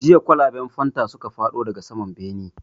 Jiya kwalaban fanta suka faɗo daga saman bene